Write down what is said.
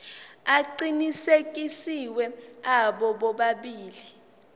aqinisekisiwe abo bobabili